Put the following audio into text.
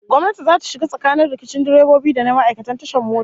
Gwamnati zata shiga tsakanin rikicin direbobi da na ma'aikatan tashar mota